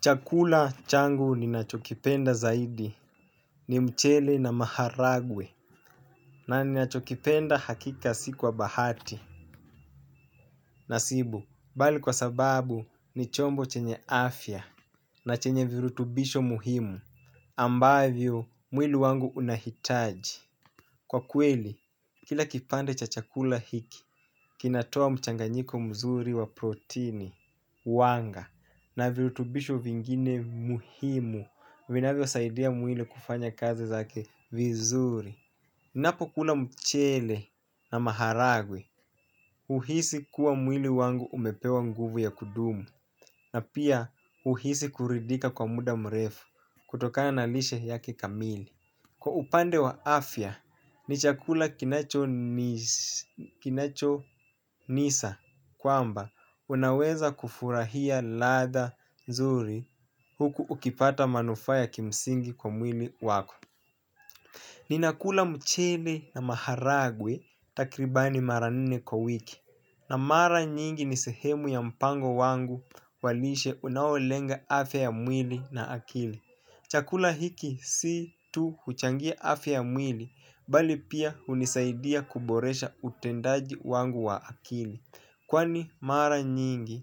Chakula changu ninachokipenda zaidi ni mchele na maharagwe na ninachokipenda hakika si kwa bahati. Nasibu, bali kwa sababu ni chombo chenye afya na chenye virutubisho muhimu ambavyo mwili wangu unahitaji. Kwa kweli, kila kipande cha chakula hiki, kinatoa mchanganyiko mzuri wa protini, wanga, na virutubisho vingine muhimu, vinavyosaidia mwili kufanya kazi zake vizuri. Ninapokula mchele na maharagwe, huhisi kuwa mwili wangu umepewa nguvu ya kudumu, na pia huhisi kuridhika kwa muda mrefu, kutoka na lishe yake kamili. Kwa upande wa afya ni chakula kinachonisa kwamba unaweza kufurahia ladha nzuri huku ukipata manufaa ya kimsingi kwa mwili wako. Ninakula mchele na maharagwe takribani mara nne kwa wiki na mara nyingi ni sehemu ya mpango wangu wa lishe unaolenga afya ya mwili na akili. Chakula hiki si tu huchangia afya mwili, bali pia hunisaidia kuboresha utendaji wangu wa akili. Kwani mara nyingi,